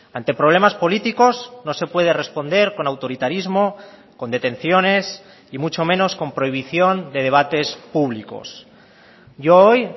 ante problemas políticos no se puede responder con autoritarismo con detenciones y mucho menos con prohibición de debates públicos yo hoy